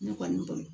Ne kɔni bolo